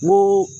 N ko